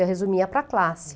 Eu resumia para a classe.